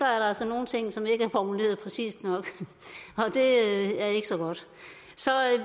er nogle ting som ikke er formuleret præcist nok og det er ikke så godt så